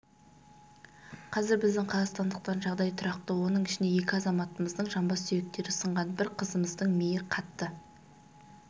қазір біздің қазақстандықтардың жағдайы тұрақты оның ішінде екі азаматымыздың жамбас сүйектері сынған бір қызымыздың миі қатты